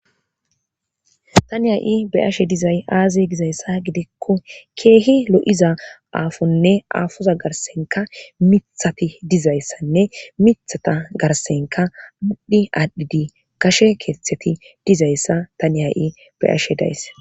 Tani ha'i beyashe dizay aaze gizayssa gidikko keehi lo'iza aafonne aafoza garssenka miiththati dizayssanne miithata garssenka maadhi aadhdhidi gashe keeththeti dizayssa tani ha'i be'ashe days